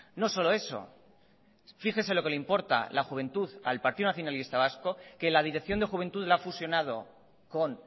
no solo eso fíjese lo que le importa la juventud al partido nacionalista vasco que la dirección de juventud la ha fusionado con